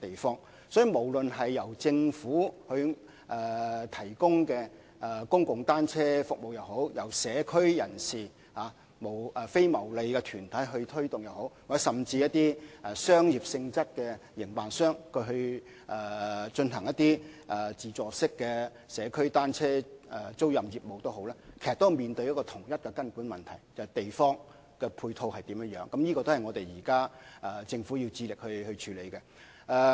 因此，無論是政府提供的公共單車租用服務，或是由社區人士及非牟利團體推動的服務，甚至是以商業性質營辦的自助社區單車租賃業務，其實均面對同一根本問題，就是土地的配套，而這亦是政府現時要致力處理的問題。